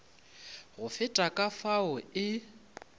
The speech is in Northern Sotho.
go feta ka fao e